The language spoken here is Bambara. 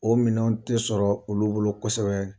O minɛnw tɛ sɔrɔ olu bolo kosɛbɛ